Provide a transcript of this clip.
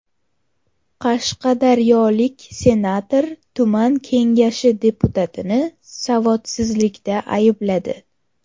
Qashqadaryolik senator tuman kengashi deputatini savodsizlikda aybladi.